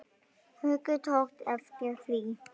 Haukur tók eftir því.